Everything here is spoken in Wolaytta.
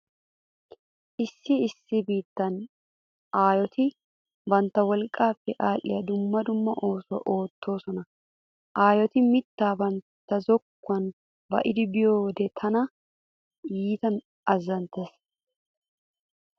Issi issi biittan aayoti bantta wolqqaappe aadhdhiya dumma dumma oosuwa oottoosona. Aayoti mittaa bantta zokkuwan ba'idi biyode tana iita azzanttees.